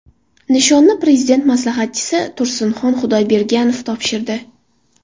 Nishonni Prezident maslahatchisi Tursinxon Xudoyberganov topshirdi.